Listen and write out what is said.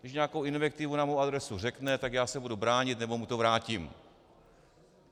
Když nějakou invektivu na moji adresu řekne, tak já se budu bránit nebo mu to vrátím.